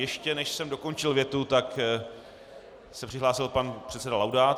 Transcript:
Ještě než jsem dokončil větu, tak se přihlásil pan předseda Laudát.